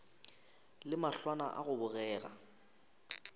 le mahlwana a go bogega